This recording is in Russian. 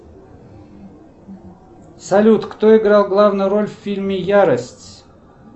салют кто играл главную роль в фильме ярость